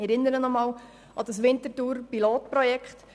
Ich erinnere noch einmal an das Winterthurer Pilotprojekt.